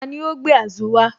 Tani ó gbé Azu wá?